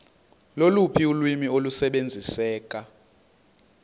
loluphi ulwimi olusebenziseka